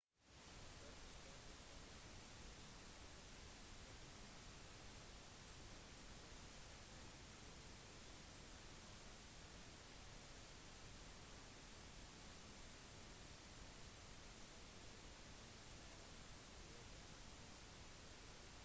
curtis cooper som er matematiker og datavitenskapsprofessor ved universitetet i sentral-missouri har oppdaget det største kjente primtalltallet til nå den 25. januar